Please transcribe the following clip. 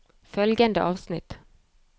Følgende avsnitt